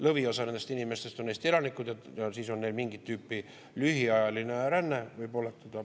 Lõviosa nendest inimestest on Eesti elanikud ja võib oletada, et neil on mingit tüüpi lühiajaline ränne.